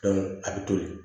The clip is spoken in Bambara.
a bɛ toli